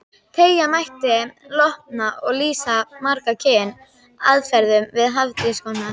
Teygja mætti lopann og lýsa margs kyns aðferðum við hafísrannsóknir.